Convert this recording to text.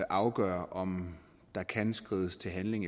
afgøre om der kan skrides til handling